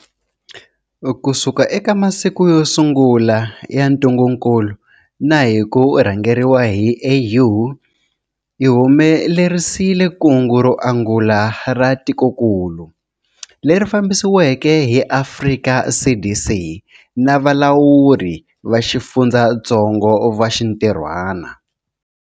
Kusuka eka masiku yo sungula ya ntungukulu na hi ku rhangeriwa hi AU, hi humelerisile kungu ro angula ra tikokulu, leri fambisiweke hi Afrika CDC na valawuri va xifundzatsongo va xintirhwana.